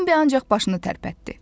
Bembi ancaq başını tərpətdi.